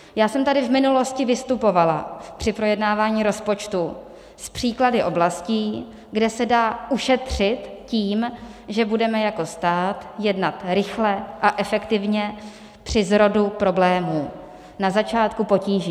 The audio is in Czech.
Já jsem tady v minulosti vystupovala při projednávání rozpočtu s příklady oblastí, kde se dá ušetřit tím, že budeme jako stát jednat rychle a efektivně při zrodu problémů, na začátku potíží.